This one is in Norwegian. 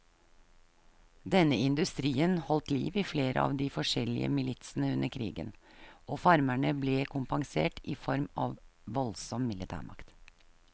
Denne industrien holdt liv i flere av de forskjellige militsene under krigen, og farmerne ble kompensert i form av voldsom militærmakt.